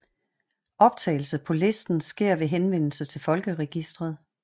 Optagelse på listen sker ved henvendelse til folkeregistret